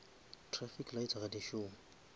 trafic lights ga di šome